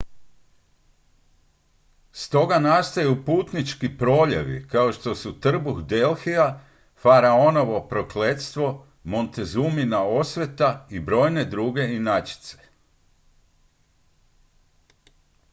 stoga nastaju putnički proljevi kao što su trbuh delhija faraonovo prokletstvo montezumina osveta i brojne druge inačice